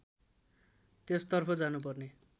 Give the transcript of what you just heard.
त्यसतर्फ जानुपर्ने